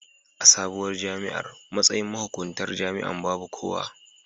A sabuwar jami'ar, matsayin mahuƙuntar jami'an babu kowa.